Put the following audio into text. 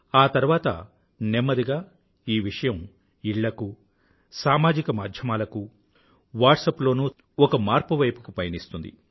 ఆ తర్వాత నెమ్మదిగా ఈ విషయం ఇళ్ళకూ సామాజిక మాధ్యమాలకూ వాట్సప్ లోనూ చక్కర్లు కొడుతూ ఒక మార్పు వైపుకి పయనిస్తుంది